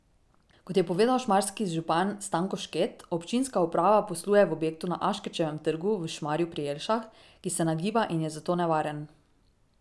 Kot je povedal šmarski župan Stanko Šket, občinska uprava posluje v objektu na Aškerčevem trgu v Šmarju pri Jelšah, ki se nagiba in je zato nevaren.